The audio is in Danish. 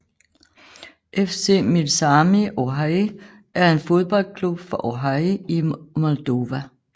FC Milsami Orhei er en fodboldklub fra Orhei i Moldova